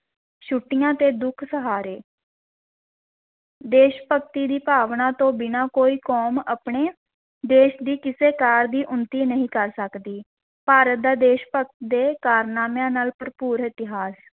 ਛੁੱਟੀਆਂ ਤੇ ਦੁੱਖ ਸਹਾਰੇ ਦੇਸ਼-ਭਗਤੀ ਦੀ ਭਾਵਨਾ ਤੋਂ ਬਿਨਾਂ ਕੋਈ ਕੌਮ ਆਪਣੇ ਦੇਸ਼ ਦੀ ਕਿਸੇ ਕਾਰ ਦੀ ਉੱਨਤੀ ਨਹੀਂ ਕਰ ਸਕਦੀ, ਭਾਰਤ ਦਾ ਦੇਸ਼ ਭਗਤ ਦੇ ਕਾਰਨਾਮਿਆਂ ਨਾਲ ਭਰਪੂਰ ਇਤਿਹਾਸ,